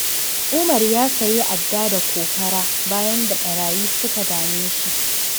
Umar ya sayi adda da kokara, bayan da ɓarayi suka dame shi.